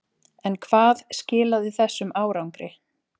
En hvað skilaði þessum árangri?